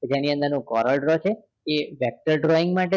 જેની અંદર નો છે એ vector drawing માટે